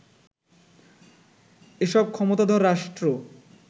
এসব ক্ষমতাধর রাষ্ট্র